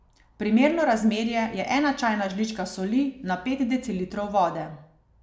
Primerno razmerje je ena čajna žlička soli na pet decilitrov vode.